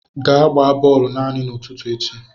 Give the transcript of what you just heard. Gaa gbaa bọọlụ naanị n'ụtụtụ echi!